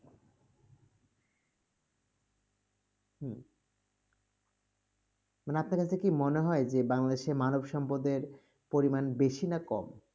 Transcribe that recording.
হুম, মানে আপনার কাছে কি মনে হয় যে বাংলাদেশের মানবসম্পদ এর পরিমাণ বেশি না কম?